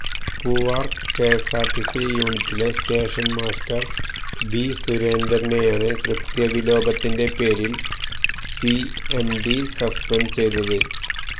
Poovar KSRTC യൂനിറ്റിലെ station master B സുരേന്ദ്രനെയാണ് കൃത്യ വിലോപത്തിന്റെ പേരില് സിഎംഡി സസ്പെന്ഡ് ചെയ്തത്